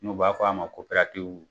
N'o b'a fɔ a ma koperatiwu.